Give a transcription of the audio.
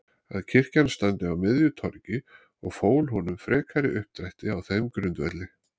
að kirkjan standi á miðju torgi og fól honum frekari uppdrætti á þeim grundvelli